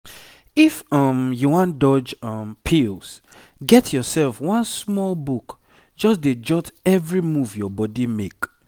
if um you wan dodge um pills get yourself one small book just dey jot every move your body make.